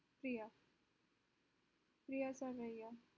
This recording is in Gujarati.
પ્રિયા સર્વૈયા